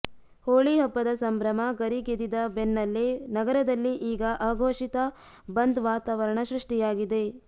ಹೋಳಿ ಹಬ್ಬದ ಸಂಭ್ರಮ ಗರಿಗೆದಿದ ಬೆನ್ನಲ್ಲೇ ನಗರದಲ್ಲಿ ಈಗ ಅಘೋಷಿತ ಬಂದ್ ವಾತಾವರಣ ಸೃಷ್ಟಿಯಾಗಿದೆ